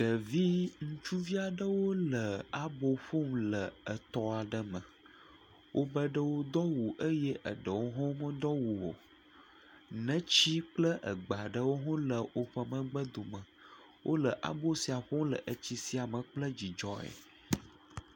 Ɖevi ŋutsuvi aɖewo le abo ƒom le etɔ aɖe me, wobe ɖewo do awu eye eɖewo hã medo awu o, neti kple egbe aɖewo hã le woƒe megbe dome. Wole abo sia ƒom etsi sia me kple dzidzɔe.